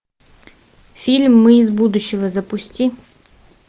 фильм мы из будущего запусти